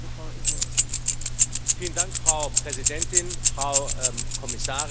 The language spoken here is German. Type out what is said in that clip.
Frau Präsidentin, Frau Kommissarin, liebe Kolleginnen und Kollegen!